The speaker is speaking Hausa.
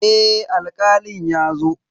Eh Alkalin ya zo.